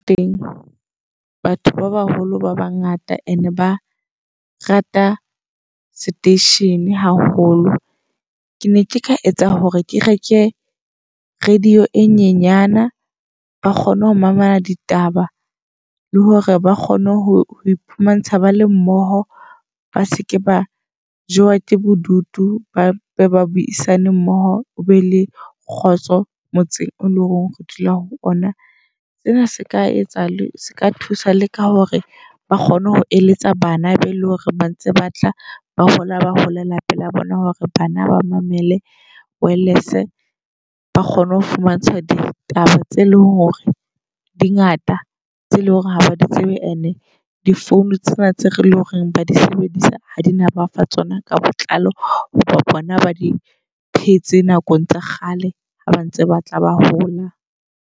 Teng batho ba baholo ba bangata and ba rata seteishene haholo. Ke ne ke ka etsa hore ke reke radio e nyenyana, ba kgone ho mamela ditaba, le hore ba kgone ho iphumana ba le mmoho. Ba seke ba jowa tse bodutu, ba buisane mmoho hobe le kgotso motseng o leng hore dula ho ona. Sena se ka etsa se ka thusa le ka hore ba kgone ho eletsa bana be eleng hore ba ntse batla ba hola, ba holela pela bona. Le hore bana ba mamele wireless ba kgone ho fumantshwa ditaba tse leng hore di ngata tse leng hore ha ba di tsebe. And-e di phone tsena tse re leng hore ba disebedisa, ha di no bafa tsona ka botlalo. Hoba bona ba di phetse nakong tsa kgale haba ntse batla ba hola.